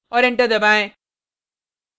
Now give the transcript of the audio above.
और enter दबाएँ